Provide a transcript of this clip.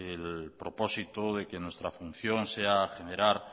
el propósito de que nuestra función sea generar